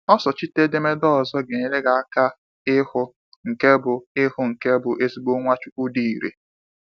osochite edemede ọzọ ga enyere gị aka ịhụ nke bụ ịhụ nke bụ ezigbo Nwachukwu dị ị̀rè.